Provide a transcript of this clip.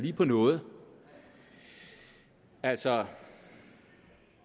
på noget altså